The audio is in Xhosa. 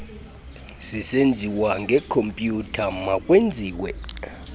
zisenziwa ngekhompyutha makwenziwe